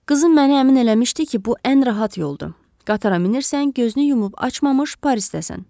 Qızım mənə əmin eləmişdi ki, bu ən rahat yoldur, qatara minirsən, gözünü yumub açmamış Parisdəsən.